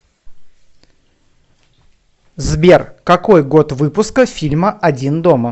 сбер какой год выпуска фильма один дома